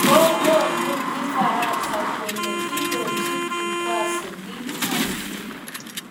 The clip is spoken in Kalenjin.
Kokomuu Ufaransa kole indochin vikwaso DRC